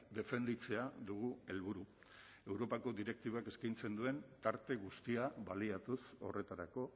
defenditzea dugu helburu europako direktibek eskaintzen duten tarte guztiak baliatuz horretarako